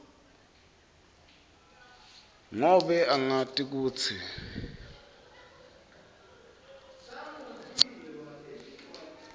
ngobe angati kutsi